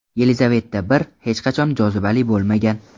Yelizaveta I hech qachon jozibali bo‘lmagan.